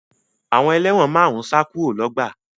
Àwọn ẹlẹ́wọ̀n márùn-ún sá kúrò lọ́gbà